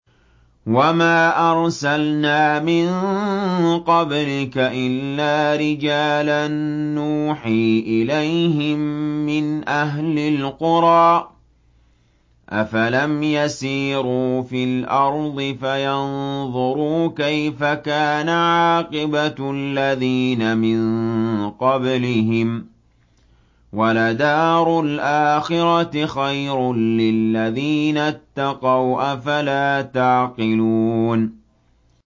وَمَا أَرْسَلْنَا مِن قَبْلِكَ إِلَّا رِجَالًا نُّوحِي إِلَيْهِم مِّنْ أَهْلِ الْقُرَىٰ ۗ أَفَلَمْ يَسِيرُوا فِي الْأَرْضِ فَيَنظُرُوا كَيْفَ كَانَ عَاقِبَةُ الَّذِينَ مِن قَبْلِهِمْ ۗ وَلَدَارُ الْآخِرَةِ خَيْرٌ لِّلَّذِينَ اتَّقَوْا ۗ أَفَلَا تَعْقِلُونَ